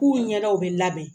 K'u ɲɛdaw bɛ labɛn